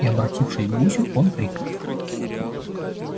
и обратившись к гусю он крикнул